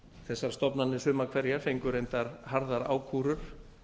þessar stofnanir sumar hverjar fengu reyndar harðar ákúrur